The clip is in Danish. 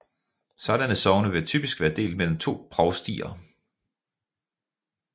Sådanne sogne vil typisk være delt mellem to provstier